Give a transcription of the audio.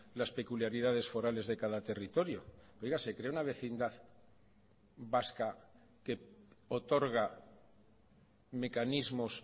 las peculiaridades forales de cada territorio oiga se crea una vecindad vasca que otorga mecanismos